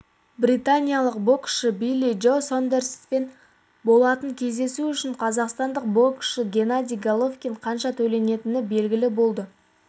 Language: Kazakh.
британиялық боксшы билли джо сондерспен болатын кездесу үшін қазақстандық боксшы геннадий головкинге қанша төленетіні белгілі болды